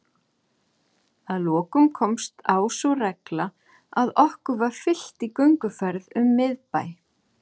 Auk þess reikuðu hjarðir af hreindýrum og moskusnautum um steppurnar á jökulskeiðum.